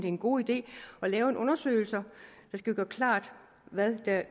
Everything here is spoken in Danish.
en god idé at lave en undersøgelse der skal gøre klart hvad der